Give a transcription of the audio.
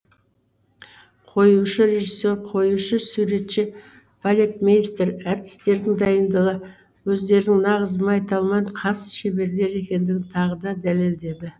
қоюшы режиссер қоюшы суретші балетмейстер әртістердің дайындығы өздерінің нағыз майталман хас шеберлер екендігін тағы да дәлелдеді